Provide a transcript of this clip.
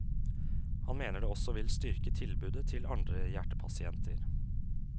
Han mener det også vil styrke tilbudet til andre hjertepasienter.